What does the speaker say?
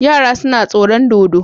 Yara suna tsoro dodo